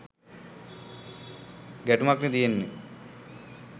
ගැටුමක්නෙ තියෙන්නෙ